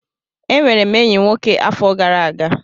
Enwere m enyi nwoke afọ gara aga.